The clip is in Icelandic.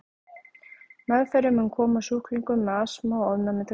Meðferðin mun koma sjúklingum með astma og ofnæmi til góða.